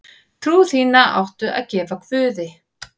Trú þína áttu að gefa guði.